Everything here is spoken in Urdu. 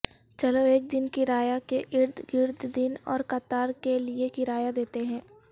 چلو ایک دن کرایہ کے ارد گرد دن اور قطار کے لئے کرایہ دیتے ہیں